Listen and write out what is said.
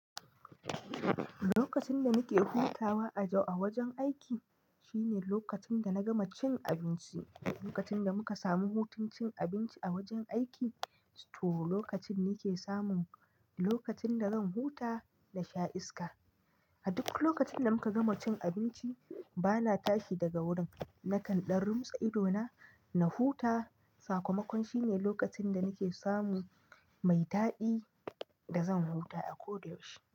Lokacin da nake hutawa a wajen aiki shine lokacin da na gama cin abinci. Lokacin da muka samu hutun cin abinci a wajen aiki, to lokacin nake samun lokacin da zan huta da sha iska. A duk lokacin da muka gama cin abinci bana tashi daga wurin, na kanɗan rumsa idona na huta. Sakamakon shine lokacin da nake samu mai daɗi da zan huta a ko da yaushe.